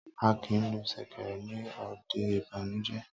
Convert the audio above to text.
A kìí lu sèkèrè ní òde ìbànújé